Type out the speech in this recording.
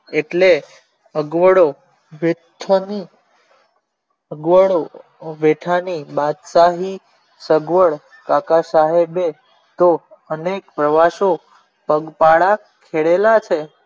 એટલે અગવડો અગવડો વેઠવાની બાદશાહી સગવડ કાકા સાહેબ કો અને પ્રવાસો પગ પાળા કરેલા છે.